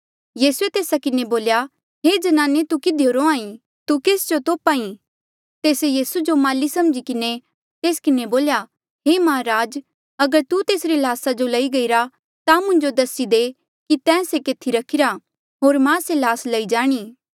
यीसूए तेस्सा किन्हें बोल्या हे ज्नाने तू किधियो रोंहां ईं तू केस जो तोप्हा ई तेस्से यीसू जो माली समझी किन्हें तेस किन्हें बोल्या हे माहराज अगर तू तेसरी ल्हासा जो लई गईरा ता मुंजो दसी दे कि तैं से केथी रखिरा होर मां से ल्हास लई जाणी